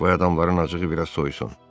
Qoy adamların acığı biraz soysun.